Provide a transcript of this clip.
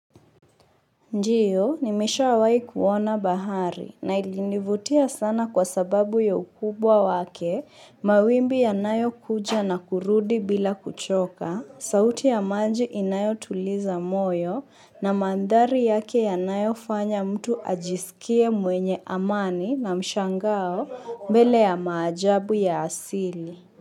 Ndio, nimeshawahi kuona bahari na ilinivutia sana kwa sababu ya ukubwa wake mawimbi yanayokuja na kurudi bila kuchoka, sauti ya maji inayotuliza moyo na mandhari yake yanayofanya mtu ajisikie mwenye amani na mshangao mbele ya maajabu ya asili.